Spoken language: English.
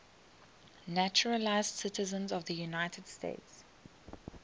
naturalized citizens of the united states